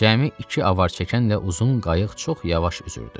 Cəmi iki avarçəkənlə uzun qayıq çox yavaş üzürdü.